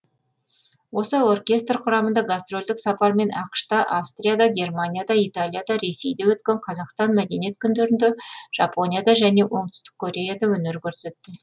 осы оркестр құрамында гастрольдік сапармен ақш та австрияда германияда италияда ресейде өткен қазақстан мәдениет күндерінде жапонияда және оңтүстік кореяда өнер көрсетті